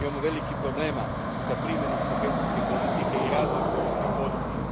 Imamo velikih problema s primjenom kohezijske politike i razvojem ruralnog područja.